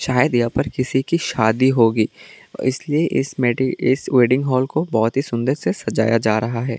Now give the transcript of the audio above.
शायद यहां पर किसी की शादी होगी इसलिए इस मीटिंग इस वेडिंग हॉल को बहुत ही सुंदर से सजाया जा रहा है।